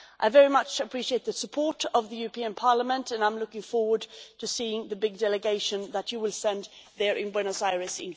I very much appreciate the support of the European Parliament and I am looking forward to seeing the big delegation that you will send to Buenos Aires in four weeks.